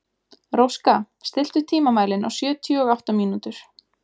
Róska, stilltu tímamælinn á sjötíu og átta mínútur.